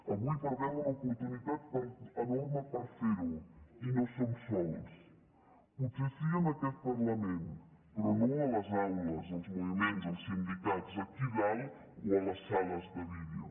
avui perdem una oportunitat enorme per ferho i no som sols potser sí que en aquest parlament però no a les aules als moviments als sindicats aquí a dalt o a les sales de vídeo